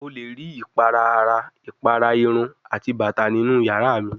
O le ri ipara ara, ipara irun ati bata ninu yara mi